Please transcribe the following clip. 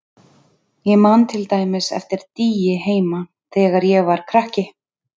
Ég man til dæmis eftir dýi heima þegar ég var krakki.